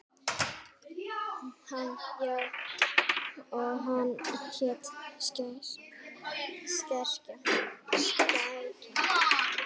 Hann: Já, og hún hét Skrækja.